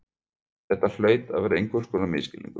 Þetta hlaut að vera einhvers konar misskilningur.